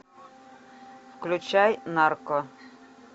включай нарко